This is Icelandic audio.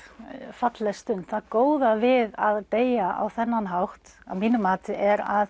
falleg stund það góða við að deyja á þennan hátt að mínu mati er að